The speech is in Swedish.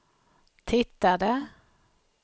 tittade